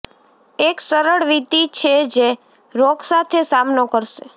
એક સરળ વિધિ છે જે રોગ સાથે સામનો કરશે